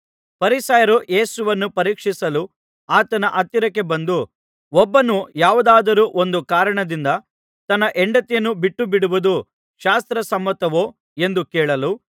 ಫರಿಸಾಯರು ಯೇಸುವನ್ನು ಪರೀಕ್ಷಿಸಲು ಆತನ ಹತ್ತಿರಕ್ಕೆ ಬಂದು ಒಬ್ಬನು ಯಾವುದಾದರೂ ಒಂದು ಕಾರಣದಿಂದ ತನ್ನ ಹೆಂಡತಿಯನ್ನು ಬಿಟ್ಟುಬಿಡುವುದು ಶಾಸ್ತ್ರ ಸಮ್ಮತವೋ ಎಂದು ಕೇಳಲು